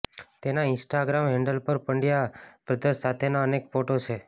તેના Instagram handle પર Pandya brothers સાથેના અનેક ફોટો છે